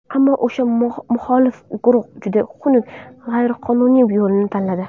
Ammo o‘sha muxolif guruh juda xunuk, g‘ayriqonuniy yo‘lni tanladi.